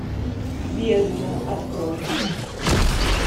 бездна открой